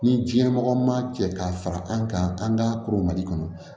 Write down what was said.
Ni diɲɛ mɔgɔ ma cɛ ka fara an kan an ka koromali kɔnɔ